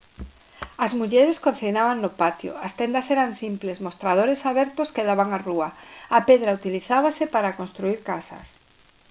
as mulleres cociñaban no patio as tendas eran simples mostradores abertos que daban á rúa a pedra utilizábase para construír casas